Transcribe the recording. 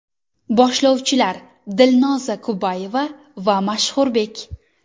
Boshlovchilar Dilnoza Kubayeva va Mashhurbek.